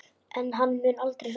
En hann mun aldrei rofna.